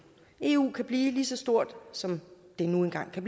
eu kan blive lige så stort som det nu engang kan